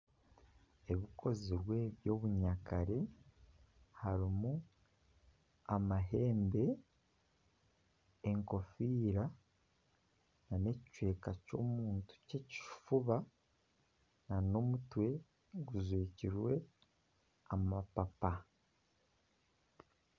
Ebikozirwe by'obunyakare harimu amahembe, enkofiira nana ekicweka ky'omuntu ky'ekifuba nana omutwe gujwekirwe amapapa